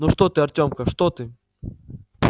ну что ты артёмка что ты